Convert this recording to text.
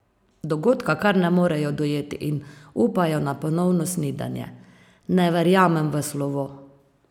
Dogodka kar ne morejo dojeti in upajo na ponovno snidenje: "Ne verjamem v slovo.